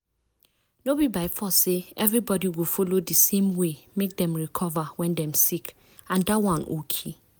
no be by force say everybody go follow di same way make dem recover when dem sick and dat one okay.